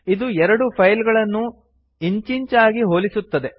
ಇದು ಎರಡು ಫೈಲ್ ಗಳನ್ನು ಇಂಚಿಂಚಾಗಿ ಹೋಲಿಸುತ್ತದೆ